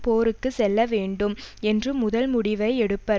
போருக்கு செல்ல வேண்டும் என்ற முதல் முடிவை எடுப்பர்